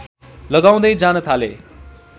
लगाउँदै जान थाले